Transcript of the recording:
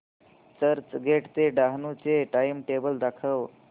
चर्चगेट ते डहाणू चे टाइमटेबल दाखव